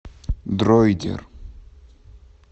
дройдер